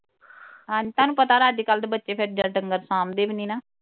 ਹਾਂ ਤੁਹਾਨੂੰ ਪਤਾ ਅੱਜ ਕੱਲ ਦੇ ਬੱਚੇ ਫਿਰ ਡੰਗਰ ਥਾਮ ਦੇ ਵੀ ਨਹੀ ਨਾ